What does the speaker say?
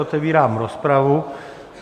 Otevírám rozpravu.